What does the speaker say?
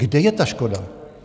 Kde je ta škoda?